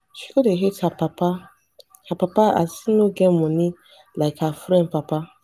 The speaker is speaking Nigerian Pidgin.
she go dey hate her papa her papa as him no get moni like her friend papa.